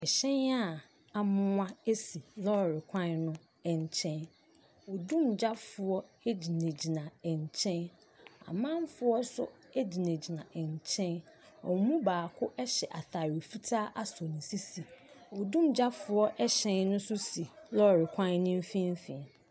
Hyɛn a amoa si lɔɔre kwan no nkyɛn. Odumgyafoɔ gyinagyina nkyɛn. Anamfoɔ nso gyinagyina nkyɛn. Wɔn mu baako hyɛ atadeɛ fitaa asɔ ne sisi. Odumgyafoɔ hyɛn no nso si lɔɔre kwan no mfimfini.